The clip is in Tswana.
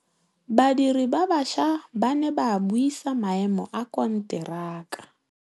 Badiri ba baša ba ne ba buisa maêmô a konteraka.